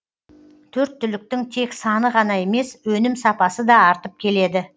төрт түліктің тек саны ғана емес өнім сапасы да артып келеді